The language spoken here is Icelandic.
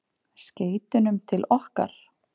Skeytunum til okkar?